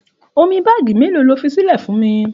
Òmí bààgí melo lòfí sílè fún mí?